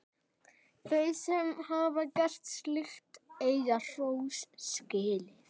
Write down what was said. Þau sem hafa gert slíkt eiga hrós skilið.